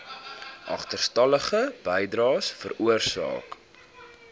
agterstallige bydraes veroorsaak